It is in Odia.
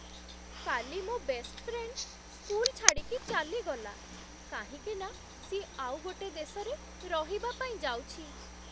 କାଲି ମୋ' ବେଷ୍ଟ ଫ୍ରେଣ୍ଡ୍ ସ୍କୁଲ୍ ଛାଡ଼ିକି ଚାଲିଗଲା, କାହିଁକିନା ସିଏ ଆଉ ଗୋଟେ ଦେଶରେ ରହିବା ପାଇଁ ଯାଉଛି ।